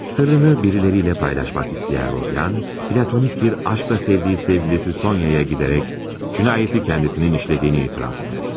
Sırrını biriləriylə paylaşmak istəyən Rodya, platonik bir aşkla sevdiyi sevgilisi Soniyaya gedərək cinayəti özünün işlədiyini etiraf edər.